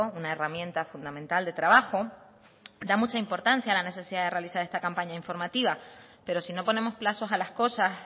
una herramienta fundamental de trabajo da mucha importancia a la necesidad de realizar esta campaña informativa pero si no ponemos plazos a las cosas